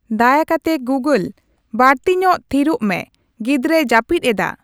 ᱫᱟᱭᱟ ᱠᱟᱛᱮ ᱜᱩᱜᱳᱞ ᱵᱟᱲᱛᱤᱧᱚᱜ ᱛᱷᱤᱨᱚᱜ ᱢᱮ ᱜᱤᱫᱽᱨᱟᱹᱭ ᱡᱟᱹᱯᱤᱫ ᱮᱫᱟ ᱾